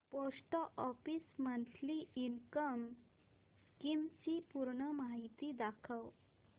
post office monthly income scheme ची पूर्ण माहिती दाखव